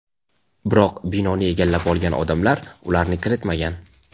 biroq binoni egallab olgan odamlar ularni kiritmagan.